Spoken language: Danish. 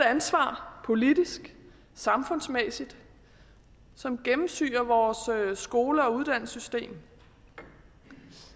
ansvar politisk samfundsmæssigt som gennemsyrer vores skole og uddannelsessystem